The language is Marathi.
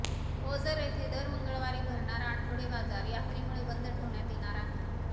ओझर येथे दर मंगळवारी भरणारा आठवडे बाजार यात्रेमुळे बंद ठेवण्यात येणार आहे